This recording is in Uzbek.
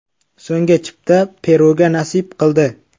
So‘nggi chipta Peruga nasib qildi.